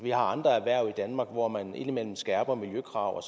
vi har andre erhverv i danmark hvor man indimellem skærper miljøkrav og